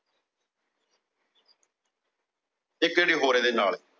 ਇਕ ਹੋਰ ਇਹਦੇ ਨਾਲ।